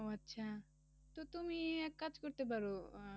ও আচ্ছা তো তুমি এক কাজ করতে পারো, আহ